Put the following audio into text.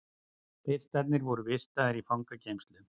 Piltarnir voru vistaðir í fangageymslu